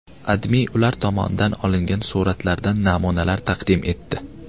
AdMe ular tomonidan olingan suratlardan namunalar taqdim etdi .